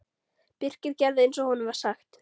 Birkir gerði eins og honum var sagt.